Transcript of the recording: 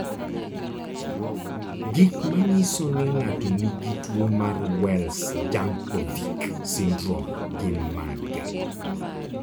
Gik manyiso ni ng'ato nigi tuwo mar Wells Jankovic syndrome gin mage?